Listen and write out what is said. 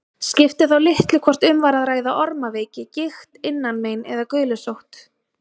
Skipti þá litlu hvort um var að ræða ormaveiki, gigt, innanmein eða gulusótt.